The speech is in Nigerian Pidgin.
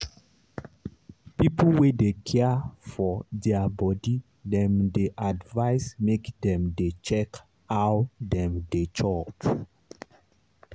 people wey dey care for their body dem dey advise make dem dey check how dem dey chop.